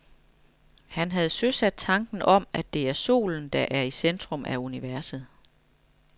Han havde søsat tanken om, at det er solen, der er i centrum af universet.